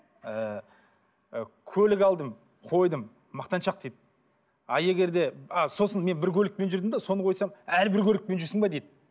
ыыы көлік алдым қойдым мақтаншақ дейді а егер де а сосын мен бір көлікпен жүрдім де соны қойсам әлі бір көлікпен жүрсің бе дейді